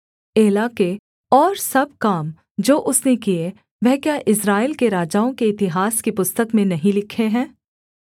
एला के और सब काम जो उसने किए वह क्या इस्राएल के राजाओं के इतिहास की पुस्तक में नहीं लिखे हैं